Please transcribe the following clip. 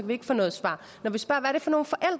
vi ikke få noget svar når vi spørger